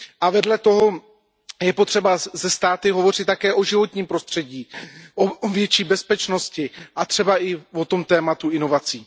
A vedle toho je potřeba se státy hovořit také o životním prostředí, o větší bezpečnosti a třeba i o tom tématu inovací.